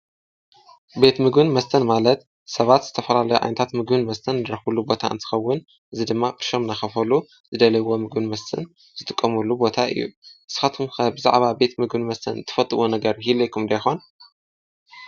ቤት ምግብን መስተን ማለት ሰባት ዝተፈላለዩ ዓይነታት ምግብን መስተን ዝረኽቡሉ ቦታ እንስኸውን አዚ ድማ ብሾም ናኸፈሉ ዝደለይዎ ምግብን መስትን ዝትቆሙሉ ቦታ እዩ፡፡ ንስኻትኩም ከ ብዛዕባ ቤት ምግብን መስተን ትፈጥዎ ነገር ይህልየኩም ዶ ይኾን?